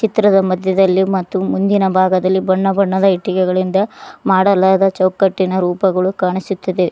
ಚಿತ್ರದ ಮಧ್ಯದಲ್ಲಿ ಮತ್ತು ಮುಂದಿನ ಭಾಗದಲ್ಲಿ ಬಣ್ಣ ಬಣ್ಣದ ಇಟ್ಟಿಗೆಗಳಿಂದ ಮಾಡಲಾದ ಚೌಕಟ್ಟುಗಳು ಕಾಣಿಸುತ್ತಿದೆ.